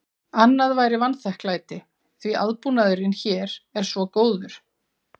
Annað væri vanþakklæti, því aðbúnaðurinn hér er svo góður.